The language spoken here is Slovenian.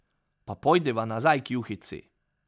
Pa pojdiva nazaj k juhici.